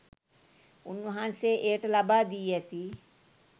උන්වහන්සේ එයට ලබා දී ඇති